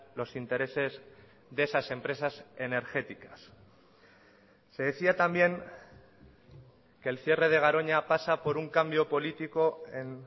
los intereses de esas empresas energéticas se decía también que el cierre de garoña pasa por un cambio político en